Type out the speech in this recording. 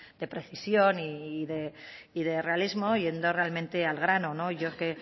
de precisión y de realismo llendo realmente al grano yo